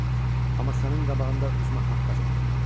Amma sənin qabağında özümə haqq qazandırmalıyam.